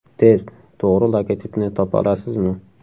Test: To‘g‘ri logotipni topa olasizmi?.